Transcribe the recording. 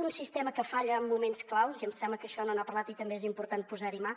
un sistema que falla en moments clau i em sembla que d’això no n’ha parlat i també és important posar hi mà